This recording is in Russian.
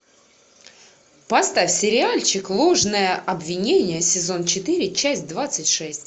поставь сериальчик ложное обвинение сезон четыре часть двадцать шесть